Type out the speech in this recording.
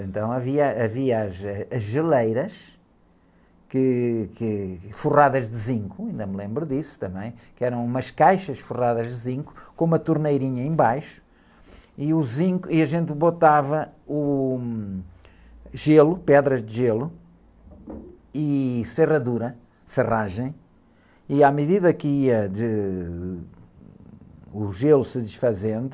Então havia, havia as, ãh, geleiras, que, que, forradas de zinco, ainda me lembro disso também, que eram umas caixas forradas de zinco com uma torneirinha embaixo, e o zinco, e a gente botava, uh, gelo, pedras de gelo e serradura, serragem e à medida que ia, de... O gelo se desfazendo...